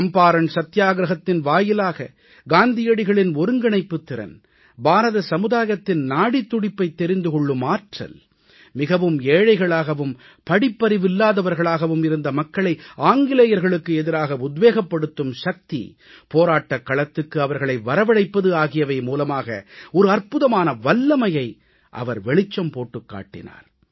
சம்பாரண் சத்தியாகிரஹத்தின் வாயிலாக காந்தியடிகளின் ஒருங்கிணைப்புத் திறன் பாரத சமுதாயத்தின் நாடித் துடிப்பைத் தெரிந்து கொள்ளும் ஆற்றல் மிகவும் ஏழைகளாகவும் படிப்பறிவில்லாதவர்களாகவும் இருந்த மக்களை ஆங்கிலேயர்களுக்கு எதிராக உத்வேகப்படுத்தும் சக்தி போராட்டக் களத்துக்கு அவர்களை வரவழைப்பது ஆகியவை மூலமாக ஒரு அற்புதமான வல்லமையை அவர் வெளிச்சம் போட்டுக் காட்டினார்